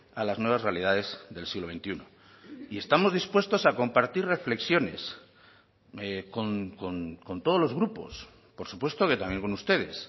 a las nuevas realidades del siglo veintiuno y estamos dispuestos a compartir reflexiones con todos los grupos por supuesto que también con ustedes